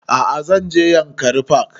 A'a zan je yankari park